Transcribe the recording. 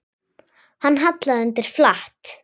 Hann hallaði undir flatt.